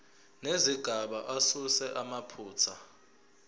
nezigaba asuse amaphutha